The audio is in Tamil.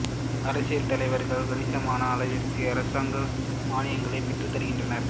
அரசியல் தலைவர்கள் கணிசமான அளவிற்கு அரசாங்க மான்யங்களைப் பெற்றுத் தருகின்றனர்